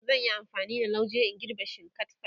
zan Yi amfani da lauje in girbe shinkatfar